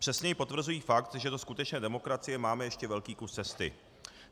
Přesněji potvrzují fakt, že do skutečné demokracie máme ještě velký kus cesty.